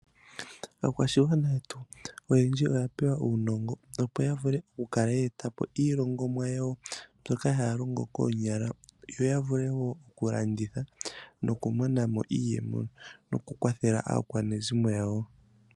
Aakwashigwana yetu oyendji oya pewa uunongo, opo ya vule okukala ye eta po iilongomwa yawo mbyoka haya longo koonyala yo ya vule wo okulanditha nokumona mo iiyemo nokukwathela aakwanezimo yawo.